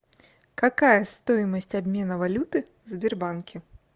какая стоимость обмена валюты в сбербанке